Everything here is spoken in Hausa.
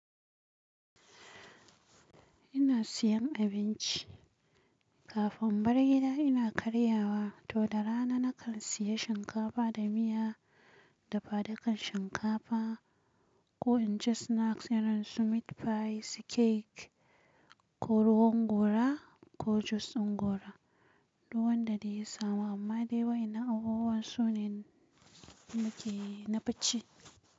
Ina siyan abinci kafin in bar gida ina karyawa to da rana na kan siya shinkafa da miya dafadukar shinkafa ko in ci snacks irin su meat pie, su cake ko ruwan gora ko jus din gora, duk wanda dai ya samu amma dai wai ina abubuwan sunan muke yi na bacci.